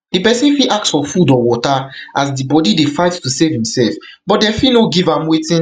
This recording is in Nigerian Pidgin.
di person fit ask for food or water as di body dey fight to save imsef but dem fit no give am wetin